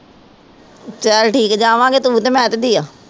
ਚਲ ਠੀਕ ਜਾਵਾਗੇ ਤੂੰ ਤੇ ਮੈ ਤੇ ਪ੍ਰਿਆ